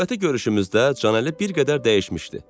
Növbəti görüşümüzdə Canəli bir qədər dəyişmişdi.